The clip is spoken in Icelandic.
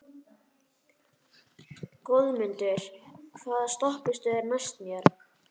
Goðmundur, hvaða stoppistöð er næst mér?